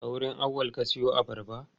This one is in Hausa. A wurin Auwal ka siyo abarba?